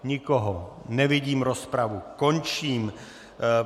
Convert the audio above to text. Nikoho nevidím, rozpravu končím.